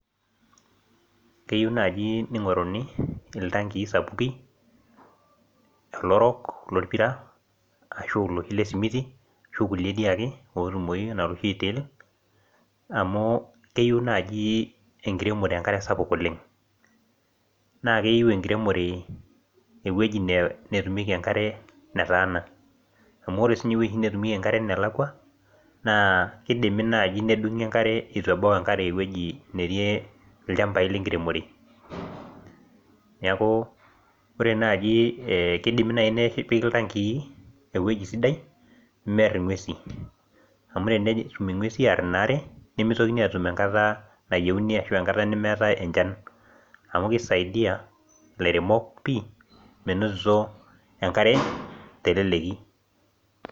keyieu naaji ning'oruni iltankin sapuki olorok lopira ashu oloing'uaruaki ake amu keyieu naaji enkiremore enkare sapuk oleng', naa keyieu eweji netumieki enkare nataana amu ore siininye eweji netumieki enkare nelakua naa kidimi naaji nedung'i enkare eton etu ebau, neeku kidimi naaji nepiki iltankii eweji sidai, pee meer ing'uesin amu tenetum ing'uesin aar inaare nimitokini aasie isiaitin kumok ashu enkata nemeetae enchan amu kisidai ilairemok menotitio enkare naiteleki.